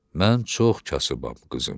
Mən çox kasıbam, qızım.